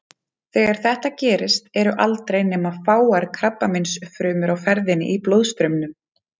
Þegar þetta gerist eru aldrei nema fáar krabbameinsfrumur á ferðinni í blóðstraumnum.